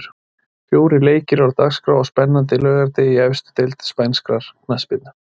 Fjórir leikir eru á dagskrá á spennandi laugardegi í efstu deild spænskrar knattspyrnu.